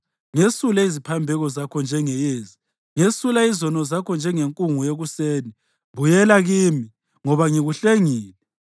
Ngesule iziphambeko zakho njengeyezi, ngesula izono zakho njengenkungu yekuseni. Buyela kimi, ngoba ngikuhlengile.”